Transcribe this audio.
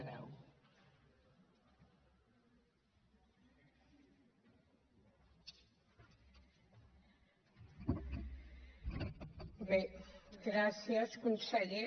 bé gràcies conseller